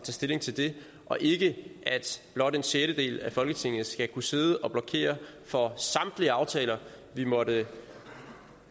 stilling til det og ikke blot at en sjettedel af folketinget skal kunne sidde og blokere for samtlige aftaler vi måtte